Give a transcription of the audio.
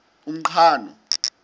umqhano